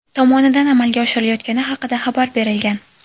tomonidan amalga oshirilayotgani haqida xabar berilgan.